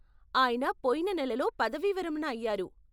ఆయన పొయిన నెలలో పదవీవిరమణ అయ్యారు.